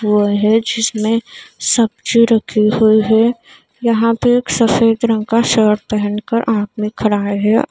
वह है जिसमें सब्जी रखी हुई है यहां पे एक सफेद रंग का शर्ट पहनकर आदमी खड़ा है।